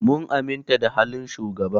Mun aminta da halin shugaban.